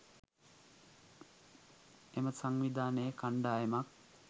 එම සංවිධානයේ කණ්ඩායමක්